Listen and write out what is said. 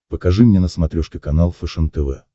покажи мне на смотрешке канал фэшен тв